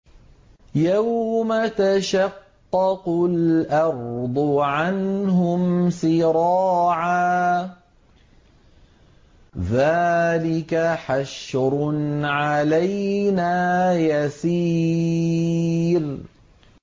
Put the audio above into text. يَوْمَ تَشَقَّقُ الْأَرْضُ عَنْهُمْ سِرَاعًا ۚ ذَٰلِكَ حَشْرٌ عَلَيْنَا يَسِيرٌ